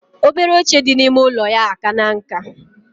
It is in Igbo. Obele oche di na ime ụlọya akana nka.